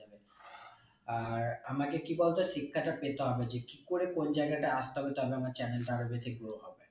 আর আমাকে কি বলতো শিক্ষাটা পেতে হবে যে কি করে কোন জায়গায়টা আসতে হবে তারপরে আমার channel টা আরো বেশি grow হবে